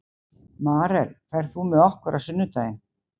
Marel, ferð þú með okkur á sunnudaginn?